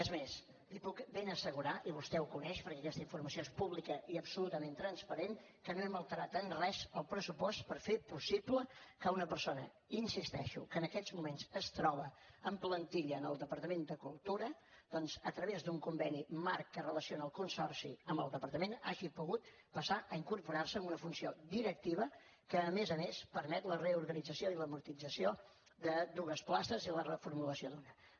és més li puc ben assegurar i vostè ho coneix perquè aquesta informació és pública i absolutament transparent que no hem alterat en res el pressupost per fer possible que una persona hi insisteixo que en aquests moments es troba en plantilla en el departament de cultura doncs a través d’un conveni marc que relaciona el consorci amb el departament hagi pogut passar a incorporar se amb una funció directiva que a més a més permet la reorganització i l’amortització de dues places i la reformulació d’una altra